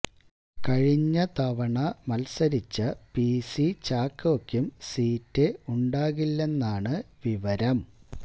കഴിഞ്ഞ തവണ മത്സരിച്ച പി സി ചാക്കോക്കും സീറ്റ് ഉണ്ടാകില്ലെന്നാണ് വിവരം